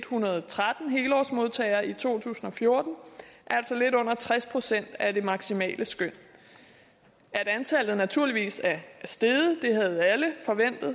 hundrede og tretten helårsmodtagere i to tusind og fjorten altså lidt under tres procent af det maksimale skøn at antallet naturligvis er steget havde alle